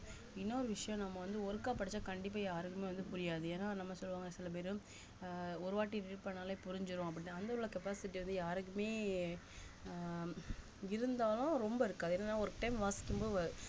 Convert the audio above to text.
இன்னொரு விஷயம் நம்ம வந்து ஒருக்கா படிச்சா கண்டிப்பா யாருக்குமே வந்து புரியாது ஏன்னா நம்ம சொல்லுவாங்க சில பேருஆஹ் ஒரு வாட்டி read பண்ணாலே புரிஞ்சிரும் அப்படித்தான் அந்த உள்ள capacity வந்து யாருக்குமே ஆஹ் இருந்தாலும் ரொம்ப இருக்காது என்னன்னா ஒரு time வாசிக்கும் போவு